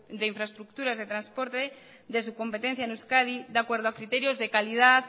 de infraestructuras de transporte de su competencia en euskadi de acuerdo a criterios de calidad